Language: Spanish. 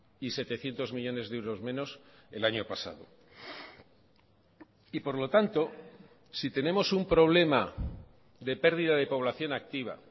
y setecientos millónes de euros menos el año pasado y por lo tanto si tenemos un problema de pérdida de población activa